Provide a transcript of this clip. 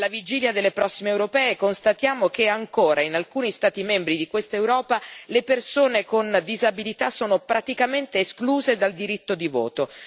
Alla vigilia delle prossime elezioni europee, constatiamo che ancora, in alcuni Stati membri di quest'Europa, le persone con disabilità sono praticamente escluse dal diritto di voto.